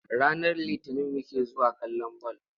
Ranar Litinin muke zuwa kallon ball.